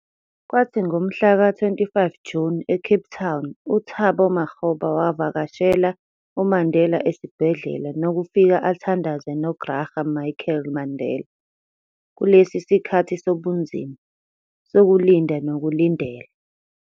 Kwathi ngomhla ka 25 June, eCape Town, u-Thabo Makgoba wavakashela uMandela esibhedlela nokufika athandaze noGraça Machel Mandela "kulesi sikhathi sobunzima, sokulinda nokulindela".